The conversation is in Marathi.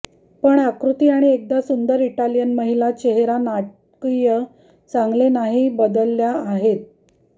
पण आकृती आणि एकदा सुंदर इटालियन महिला चेहरा नाटकीय चांगले नाही बदलल्या आहेत आणि